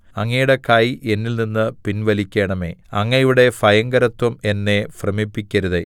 അങ്ങയുടെ കൈ എന്നിൽനിന്ന് പിൻവലിക്കണമേ അങ്ങയുടെ ഭയങ്കരത്വം എന്നെ ഭ്രമിപ്പിക്കരുതേ